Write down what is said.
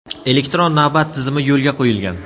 Elektron navbat tizimi yo‘lga qo‘yilgan.